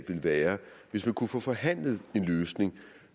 være hvis man kunne få forhandlet en løsning